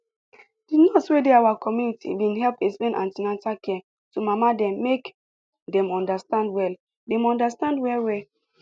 the nurse wey dey our community been help explain an ten atal care to mama dem make dem understand well dem understand well well